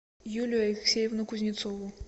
юлию алексеевну кузнецову